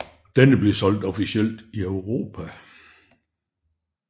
Denne blev solgt officielt i Europa